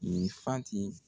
Ninfanti